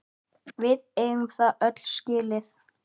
Við eigum það öll skilið!